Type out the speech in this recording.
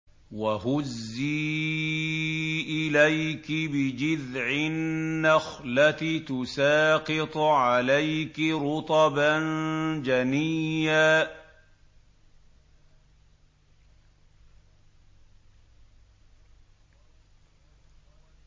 وَهُزِّي إِلَيْكِ بِجِذْعِ النَّخْلَةِ تُسَاقِطْ عَلَيْكِ رُطَبًا جَنِيًّا